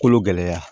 Kolo gɛlɛya